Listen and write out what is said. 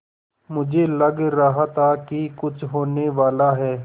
मुझे लग रहा था कि कुछ होनेवाला है